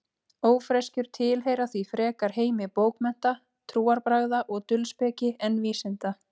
Ófreskjur tilheyra því frekar heimi bókmennta, trúarbragða og dulspeki en vísinda.